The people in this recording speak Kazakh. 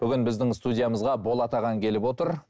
бүгін біздің студиямызға болат ағаң келіп отыр